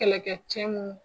Kɛlɛ kɛ cɛ mun